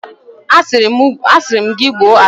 A siri m gi gbuo agbusi ahu!